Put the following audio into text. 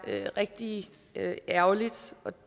rigtig ærgerligt og